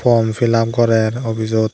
form fill up gorer obisot .